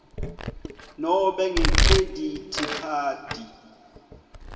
nobe ngekhredithi khadi